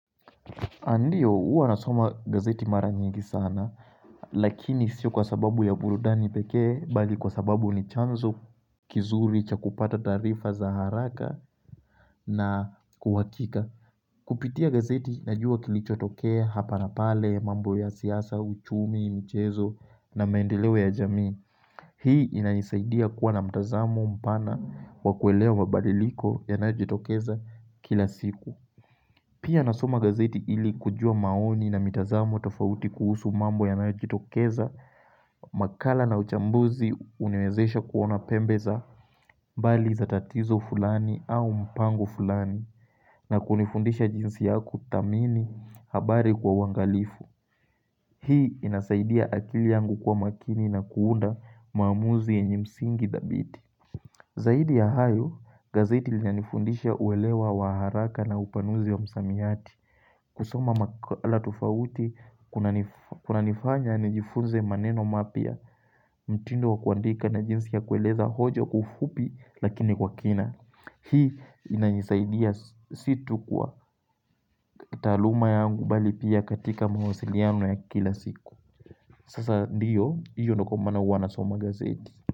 Andiyo, hua nasoma gazeti mara nyingi sana, lakini sio kwa sababu ya burudani pekee, bali kwa sababu ni chanzo kizuri cha kupata tarifa za haraka na kuhakika. Kupitia gazeti, najua kilicho tokea hapa na pale, mambo ya siasa, uchumi, mchezo na maendeleo ya jamii. Hii inanisaidia kuwa na mtazamo, mpana, wakuelewa mabadiliko yanajitokeza kila siku. Pia nasoma gazeti ili kujua maoni na mitazamo tofauti kuhusu mambo yanayo jitokeza, makala na uchambuzi unawezesha kuona pembe za mbali za tatizo fulani au mpango fulani na kunifundisha jinsi yakuthamini habari kwa uangalifu. Hii inasaidia akili yangu kuwa makini na kuunda maamuzi yenye msingi dhabiti. Zaidi ya hayo, gazeti linanifundisha uwelewa wa haraka na upanuzi wa misamiati. Kusoma makala tufauti kuna nifanya nijifunze maneno mapia mtindo wa kuandika na jinsi ya kueleza hojo kufupi lakini kwa kina. Hii inanisaidia, si tu kwa taaluma yangu mbali pia katika mawasiliano ya kila siku. Sasa ndiyo, hiyo ndiyo kwa maana huwa nasoma gazeti.